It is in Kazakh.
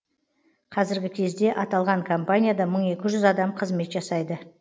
қазіргі кезде аталған компанияда мың екі жүз адам қызмет жасайды